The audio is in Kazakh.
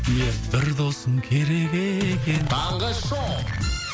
ия бір досың керек екен таңғы шоу